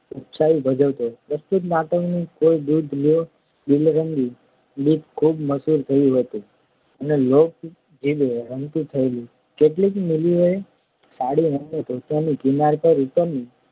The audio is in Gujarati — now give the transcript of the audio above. ઉપસાવી ભજવતો પ્રસ્તુત નાટકનું કોઈ દૂધ લ્યો દિલરંગી ગીત ખૂબ મશહૂર થયું હતું અને લોકજીભે રમતું થયેલું કેટલીક મિલોએ સાડી અને ધોતિયાની કિનાર ઉપર